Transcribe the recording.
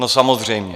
No, samozřejmě!